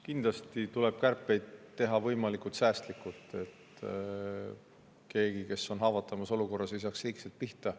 Kindlasti tuleb kärpeid teha võimalikult säästlikult, et need, kes on haavatavas olukorras, ei saaks liigselt pihta.